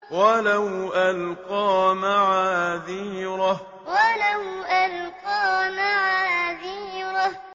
وَلَوْ أَلْقَىٰ مَعَاذِيرَهُ وَلَوْ أَلْقَىٰ مَعَاذِيرَهُ